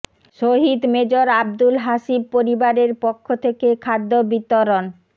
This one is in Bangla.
শহীদ মেজর আব্দুল হাসিব পরিবারের পক্ষ থেকে খাদ্য বিতরণ